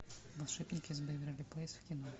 волшебники из вэйверли плэйс в кино